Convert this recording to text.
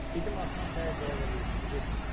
Dedim atan səni icazə vermir, getmə.